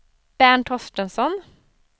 Bernt Torstensson